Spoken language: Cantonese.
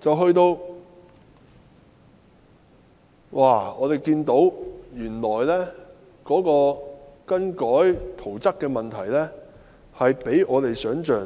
接下來，我們看到更改圖則的問題原來比我們想象